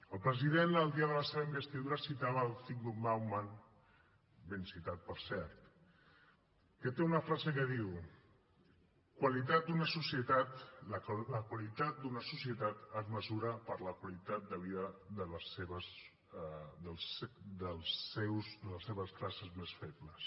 el president el dia de la seva investidura citava zygmunt bauman ben citat per cert que té una frase que diu la qualitat d’una societat es mesura per la qualitat de vida de les seves classes més febles